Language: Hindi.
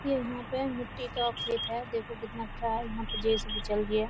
ये यहाँ पे मिट्टी का खेत है देखो कितना अच्छा है यहाँ पे जेसीबी चल रही है।